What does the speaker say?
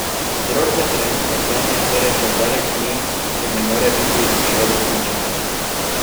Vzrok za trenutno stanje torej še zdaleč ni in ne more biti v šoli smučanja!